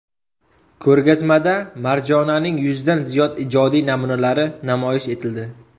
Ko‘rgazmada Marjonaning yuzdan ziyod ijodiy namunalari namoyish etildi.